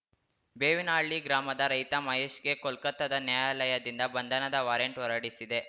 ಬೇವಿನಹಳ್ಳಿ ಗ್ರಾಮದ ರೈತ ಮಹೇಶ್‌ಗೆ ಕೊಲ್ಕತ್ತಾದ ನ್ಯಾಯಾಲಯದಿಂದ ಬಂಧನದ ವಾರೆಂಟ್‌ ಹೊರಡಿಸಿದೆ